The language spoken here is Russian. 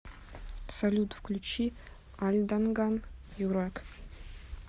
салют включи альданган юрак